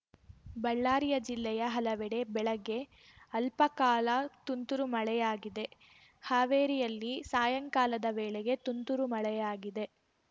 ಬಳ್ಳಾರಿಯ ಜಿಲ್ಲೆಯ ಹಲವೆಡೆ ಬೆಳಗ್ಗೆ ಅಲ್ಪಕಾಲ ತುಂತುರು ಮಳೆಯಾಗಿದೆ ಹಾವೇರಿಯಲ್ಲಿ ಸಾಯಂಕಾಲದ ವೇಳೆಗೆ ತುಂತುರು ಮಳೆಯಾಗಿದೆ